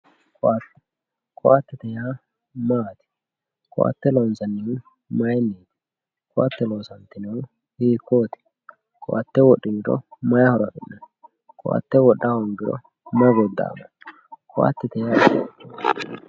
Koatte, koatte yaa mayyate, koatte mayinni loonsanni, koatte loonsanihu hiikkoti, koatte wodhiniro mayi horo afi'nanni ,koatte wodha hoongiro mayi goda'ano, koatte yaa mayati?